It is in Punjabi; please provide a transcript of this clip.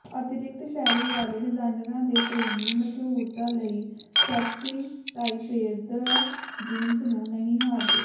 ਅਤਿਰਿਕਤ ਸ਼ੈਲੀ ਵਾਲੇ ਡਿਜ਼ਾਈਨਰਾਂ ਦੇ ਪ੍ਰੇਮੀ ਮਸ਼ਹੂਰਤਾ ਲਈ ਸੈਕਸੀ ਤਾਈਪੇਦਾਰ ਜੀਨਸ ਨੂੰ ਨਹੀਂ ਹਾਰਦੇ